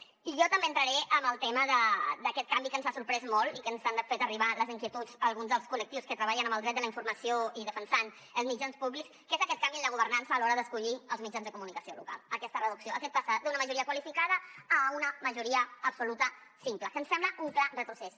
i jo també entraré en el tema d’aquest canvi que ens ha sorprès molt i que ens han fet arribar les inquietuds alguns dels col·lectius que treballen en el dret de la informació i defensant els mitjans públics que és aquest canvi en la governança a l’hora d’escollir els mitjans de comunicació local aquesta reducció aquest passar d’una majoria qualificada a una majoria absoluta simple que ens sembla un clar retrocés